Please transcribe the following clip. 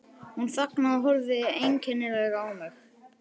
Hún þagnaði og horfði einkennilega á mig.